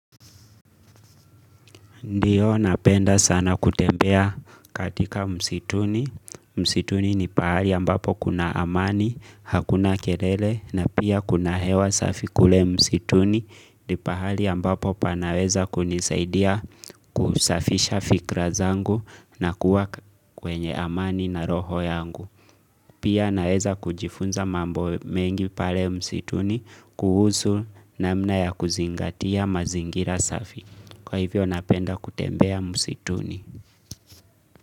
Ndiyo napenda sana kutembea katika msituni, msituni ni pahali ambapo kuna amani, hakuna kelele na pia kuna hewa safi kule msituni, ni pahali ambapo panaweza kunisaidia kusafisha fikra zangu na kuwa kwenye amani na roho yangu. Pia naweza kujifunza mambo mengi pale msituni kuhusu namna ya kuzingatia mazingira safi. Kwa hivyo napenda kutembea msituni.